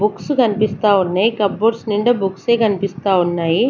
Books కనిపిస్తా ఉన్నాయి cupboards నిండా బుక్స్ ఏ కనిపిస్తా ఉన్నాయి.